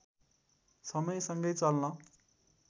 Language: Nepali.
समयसँगै चल्न